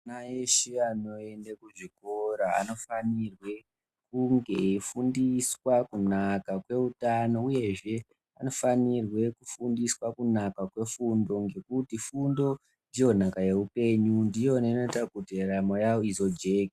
Ana eshe anoende kuzvikora anofanirwe kunge eifundiswa kunaka kweutano uyehe anofanirwe kufundiswa kunaka kwefundo, ngekuti fundo ndiyo nhaka yeupenyu, ndiyo inoita kuti ndaramo yavo izojeke.